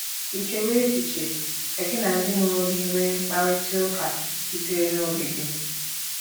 Ì chewo echiche ka gị na ndị mụrụ gị nwee mkparịta ụka sitere n’obi gị?